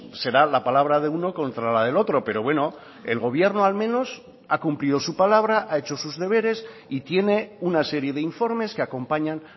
será la palabra de uno contra la del otro pero bueno el gobierno al menos ha cumplido su palabra ha hecho sus deberes y tiene una serie de informes que acompañan